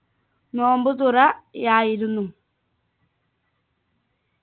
നോമ്പുതുറ യായിരുന്നു